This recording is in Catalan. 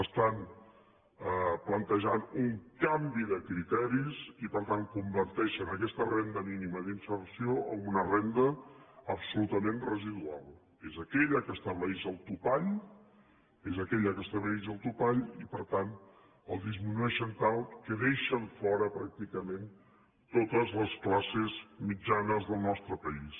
estan plantejant un canvi de criteris i per tant converteixen aquesta renda mínima d’inserció en una renda absolutament residual és aquella que estableix el topall és aquella que estableix el topall i per tant el disminueixen tant que deixen fora pràcticament totes les classes mitjanes del nostre país